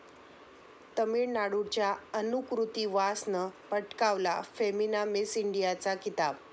तामिळनाडूच्या अनुकृती वासनं पटकावला फेमिना मिस इंडियाचा किताब